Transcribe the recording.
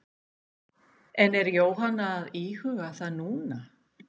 En er Jóhanna að íhuga það núna?